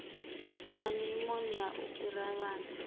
na nyumonia u fhirisa vhana